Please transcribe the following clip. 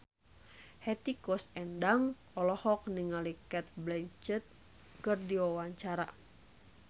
Hetty Koes Endang olohok ningali Cate Blanchett keur diwawancara